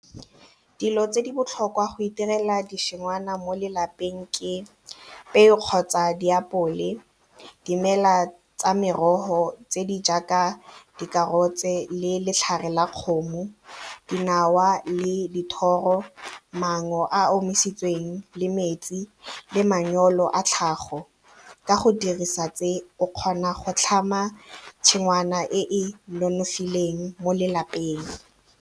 Dilo tse di botlhokwa go itirela ditshingwana mo lelapeng ke peo kgotsa diapole, dimela tsa merogo tse di jaaka dikarotse le letlhare la kgomo dinawa le dithoro, mango a a omisitsweng le metsi le manyoro a tlhago ka go dirisa tse o kgona go tlhama tshingwana e e nonofileng mo lelapeng.